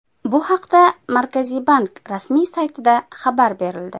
Bu haqda Markaziy bank rasmiy saytida xabar berildi .